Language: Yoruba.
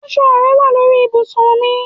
asọ rẹ wa lori ibùsùn mi